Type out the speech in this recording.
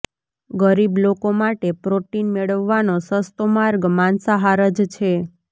ગરીબ લોકો માટે પ્રોટીન મેળવવાનો સસ્તો માર્ગ માંસાહાર જ છે